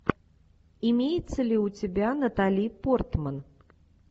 имеется ли у тебя натали портман